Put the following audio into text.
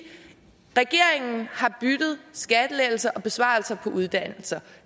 regeringen har byttet skattelettelser til besparelser på uddannelser